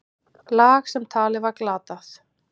Lag sem talið var glatað.